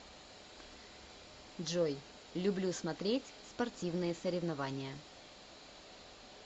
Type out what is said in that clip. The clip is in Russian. джой люблю смотреть спортивные соревнования